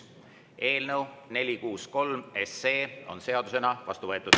Eelnõu 463 on seadusena vastu võetud.